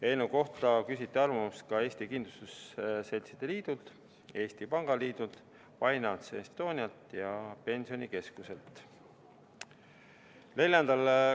Eelnõu kohta küsiti arvamust ka Eesti Kindlustusseltside Liidult, Eesti Pangaliidult, Finance Estonialt ja Pensionikeskuselt.